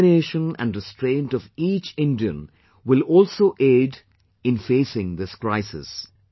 The determination and restraint of each Indian will also aid in facing this crisis